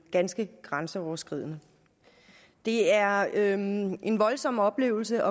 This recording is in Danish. ganske grænseoverskridende det er en en voldsom oplevelse